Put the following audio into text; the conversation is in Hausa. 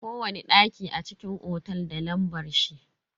Kowani daki a cikin otel da lambar shi.